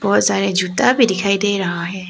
बहुत सारे जूता भी दिखाई दे रहा है।